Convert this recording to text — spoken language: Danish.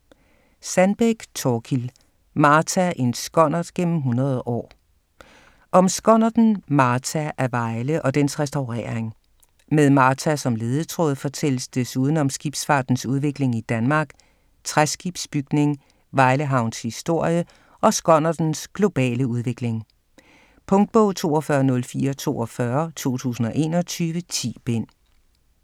Sandbeck, Thorkild: Martha: en skonnert gennem 100 år Om skonnerten Martha af Vejle og dens restaurering. Med Martha som ledetråd fortælles desuden om skibsfartens udvikling i Danmark, træskibsbygning, Vejle havns historie og skonnertens globale udvikling. Punktbog 420442 2021. 10 bind.